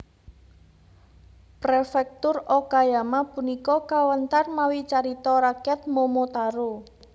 Prefektur Okayama punika kawéntar mawi carita rakyat Momotaro